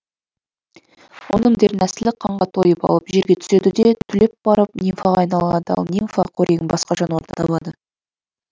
оның дернәсілі қанға тойып алып жерге түседі де түлеп барып нимфаға айналады ал нимфа қорегін басқа жануардан табады